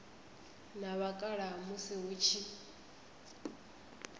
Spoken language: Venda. na vhakalaha musi hu tshi